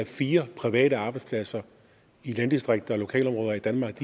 fire private arbejdspladser i landdistrikter og lokalområder i danmark